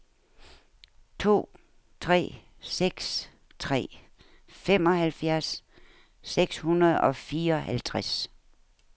to tre seks tre femoghalvfjerds seks hundrede og fireoghalvtreds